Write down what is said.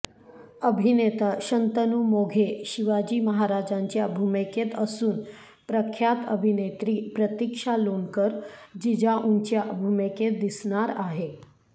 अभिनेता शंतनू मोघे शिवाजी महाराजांच्या भूमिकेत असून प्रख्यात अभिनेत्री प्रतिक्षा लोणकर जिजाऊंच्या भूमिकेत दिसणार आहे